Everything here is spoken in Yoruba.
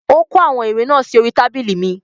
Ó kó àwọn ìwé náà sí orí I tábìlì mi